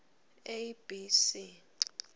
a b c